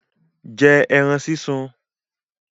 Jẹ́ ẹran súnsun!